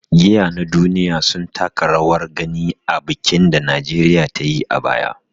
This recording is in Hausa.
Giya na duniya sun taka rawar gani a bikin da Najeriya ta yi a baya.